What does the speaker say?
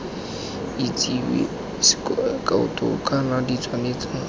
itsewe sk kaoto kana ditshwaetso